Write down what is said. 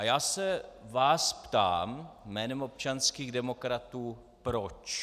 A já se vás ptám jménem občanských demokratů - proč?